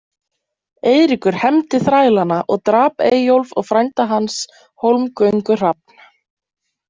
Eiríkur hefndi þrælanna og drap Eyjólf og frænda hans, Hólmgöngu-Hrafn.